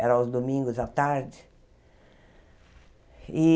Era aos domingos à tarde.